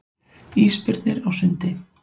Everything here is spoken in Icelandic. Ísbirnir á sundi.